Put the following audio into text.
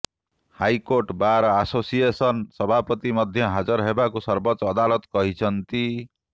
high court bar association ସଭାପତିଙ୍କୁ ମଧ୍ୟ ହାଜର ହେବାକୁ ସବୋର୍ଚ୍ଚ ଅଦାଲତ କହିଛନ୍ତି